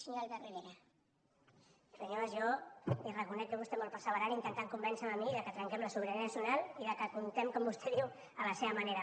senyor mas jo li reconec que és vostè molt perseverant intentant convèncer me a mi que trenquem la sobirana nacional i que comptem com vostè diu a la seva manera